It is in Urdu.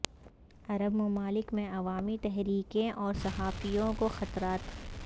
عرب ممالک میں عوامی تحریکیں اور صحافیوں کو خطرات